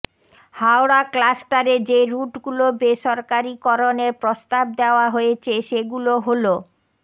হাওড়া ক্লাস্টারে যে রুটগুলো বেসরকারিকরণের প্রস্তাব দেওয়া হয়েছে সেগুলো হল